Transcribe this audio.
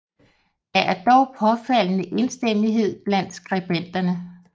Der er dog påfaldende enstemmighed blandt skribenterne